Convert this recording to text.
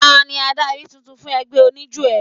Tani adarí tuntun fún ẹgbẹ́ oníjó ẹ?